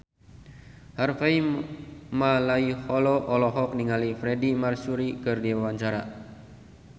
Harvey Malaiholo olohok ningali Freedie Mercury keur diwawancara